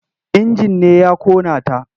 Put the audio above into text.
Injin ne ya ƙona ta.